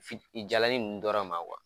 Fit jalani nn dɔrɔn ma